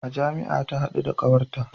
A jami'a ta hadu da kawarta